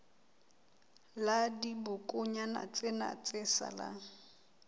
la dibokonyana tsena tse salang